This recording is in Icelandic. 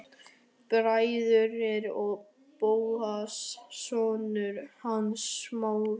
Bræðurnir og Bóas, sonur hans Smára.